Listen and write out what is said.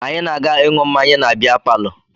Anyị na-aga ịṅụ mmanya na bịa palọ